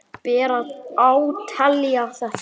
Ber að átelja þetta.